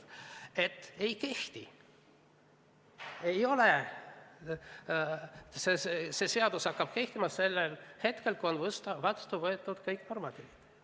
Ta ütles, et ei kehti, see seadus hakkab kehtima sel hetkel, kui on vastu võetud kõik normatiivaktid.